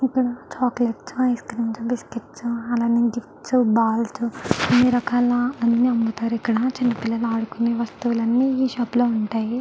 ఇక్కడ chocolates ice creams biscuits అలానే gifts balls అన్ని రకాల అన్ని అమ్ముతారు ఇక్కడ చిన్న పిల్లలు ఆడుకునేవి వస్తువులు అన్ని ఈ షాప్ లో ఉంటాయి.